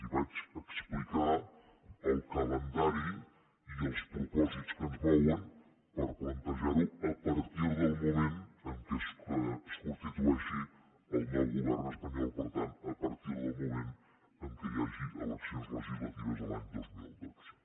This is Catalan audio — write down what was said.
i vaig explicar el calendari i els propòsits que ens mouen per plantejar ho a partir del moment en què es constitueixi el nou govern espanyol per tant a partir del moment en què hi hagi eleccions legislatives a l’any dos mil dotze